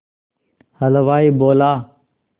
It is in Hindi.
हलवाई बोला